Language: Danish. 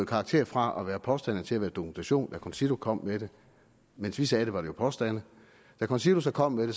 karakter fra at være påstande til at være dokumentation da concito kom med det mens vi sagde det var det påstande da concito så kom med det